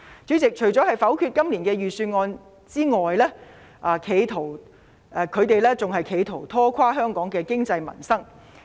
主席，除了否決今年的預算案外，他們更企圖拖垮香港的經濟民生。